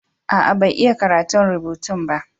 Aa, bai iya karatun rubutun